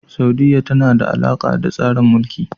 Saudiyya tana da alaƙa da tsarin Mulki.